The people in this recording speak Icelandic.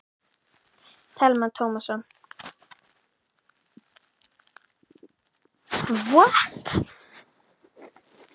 Telma Tómasson: Elín, um hvað snýst eiginlega þessi verkfærakista?